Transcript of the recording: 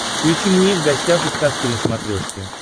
включи мне в гостях у сказки на смотрешке